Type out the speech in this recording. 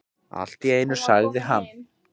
Allt í einu sagði hann: